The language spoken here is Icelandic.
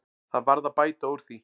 Það varð að bæta úr því.